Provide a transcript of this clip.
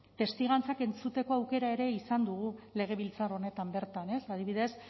testigantzak entzuteko aukera ere izan dugu legebiltzar honetan bertan ez adibidez